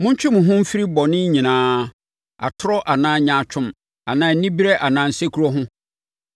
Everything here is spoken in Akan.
Montwe mo ho mfiri bɔne nyinaa, atorɔ anaa nyaatwom anaa anibereɛ anaa nsekuro ho.